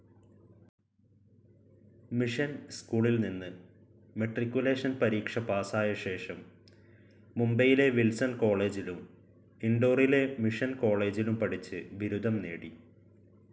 Mission സ്കൂളിൽനിന്ന് matriculation പരീക്ഷ പാസ്സായശേഷം മുംബൈയിലെ വിൽസൺ കോളജിലും ഇൻഡോറിലെ മിഷൻ കോളജിലും പഠിച്ച് ബിരുദം നേടി.